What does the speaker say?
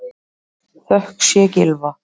Þökk sé Gylfa